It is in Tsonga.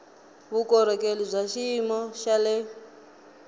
vukorhokeri bya xiyimo xa le